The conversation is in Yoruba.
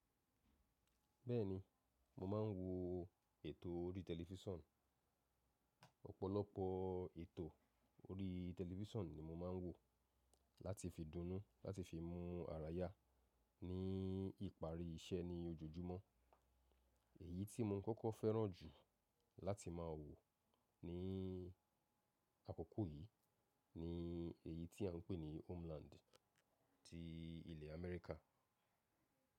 Bẹ́ẹ̀ni, mo máa ń wo ètò orí tẹlifíṣàn. Ọ̀pọ̀lọpọ̀ ètò orí tẹlifísàn ni mo máa ń wò láti fi dúnú láti fi mú ara yá ní ìparí iṣẹ́ ní ojoojúmọ́. Èyí tí mo kọ́kọ́ fẹ́ràn jù láti máa wò ní àkókò yìí ni èyí tí à ń pè ní homeland ti ilẹ̀ Amẹ́ríkà.